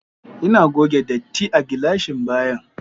Ina goge datti a gilashin bayan